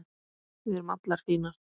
Við erum allar fínar